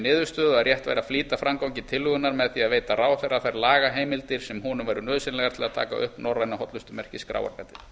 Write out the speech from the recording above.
niðurstöðu að rétt væri að flýta framgangi tillögunnar með því að veita ráðherra þær lagaheimildir sem honum væru nauðsynlegar til að taka upp norræna hollustumerkið skráargatið